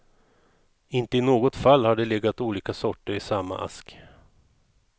Inte i något fall har det legat olika sorter i samma ask.